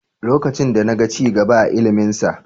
Lokacin da na ga ci gaba a iliminsa.